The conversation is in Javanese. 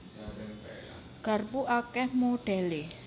Garpu akèh modhèlé